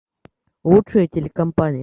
лучшая телекомпания